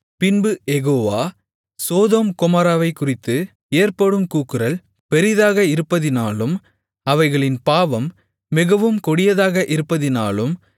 பின்பு Jehovah Sodom கொமோராவைக்குறித்து ஏற்படும் கூக்குரல் பெரிதாக இருப்பதினாலும் அவைகளின் பாவம் மிகவும் கொடியதாக இருப்பதினாலும்